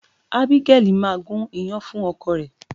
Abigail máa gún iyán fún ọkọ rẹ̀.